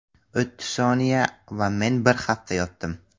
O‘ttiz soniya va men bir hafta yotdim.